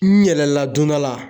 N yɛlɛla don dɔ la